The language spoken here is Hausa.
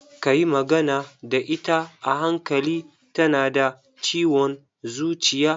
Ka yi magana da ita a hankali, ta na da ciwon zuciya.